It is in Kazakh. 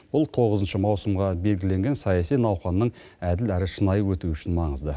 бұл тоғызыншы маусымға белгіленген саяси науқанның әділ әрі шынайы өтуі үшін маңызды